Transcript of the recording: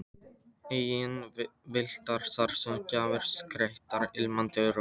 Engir vindlar þar eða gjafir skreyttar ilmandi rósum.